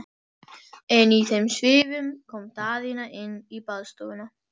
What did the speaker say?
En í þeim svifum kom Daðína inn í baðstofuna.